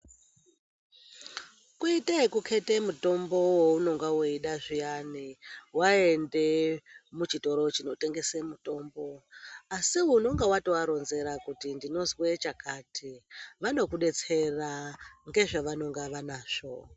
Kuite ekukheta mutombo waunonga weida zviyani waende muchitoro zvinotengese mitombo, asi unonga watovaronzera kuti unozwa chakati vanokudetsera nezvavanenge vanazvo.